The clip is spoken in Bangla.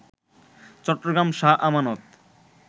চট্টগ্রাম শাহ আমানত